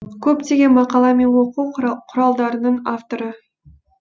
көптеген мақала мен оқу құралдарының авторы